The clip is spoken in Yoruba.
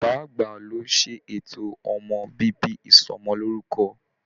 Bàbá àgbà ló ṣètò ọmọ bíbí Ìsọmọlorúkọ.